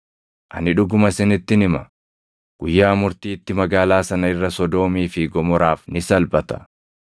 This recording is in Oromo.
Ani dhuguma isinittin hima; guyyaa murtiitti magaalaa sana irra Sodoomii fi Gomoraaf ni salphata.